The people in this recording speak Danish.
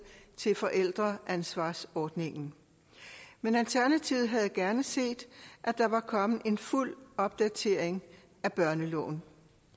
til forældreansvarsordningen men alternativet havde gerne set at der var kommet en fuld opdatering af børneloven